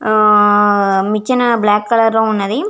ఆ మిచ్చన black colour లో ఉన్నది.